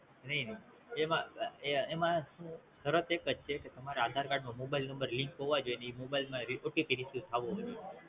નઈ નઈ એમાં સુ ફરક એકજ છે તમારા Aadhar card નો Mobile Number Link હોવો જોઈ ને ઈ Mobile માં OTPReceive થવો પડે